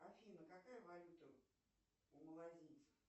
афина какая валюта у малазийцев